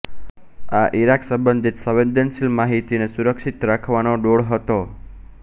આ ઈરાક સંબંધિત સંવેદનશીલ માહિતીને સુરક્ષિત રાખવાનો ડોળ હતો